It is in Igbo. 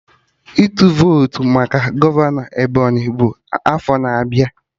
Ịtụ votu maka gọvanọ ndị Ebonyi bụ n'afọ na-abịa